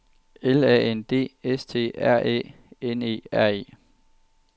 L A N D S T R Æ N E R E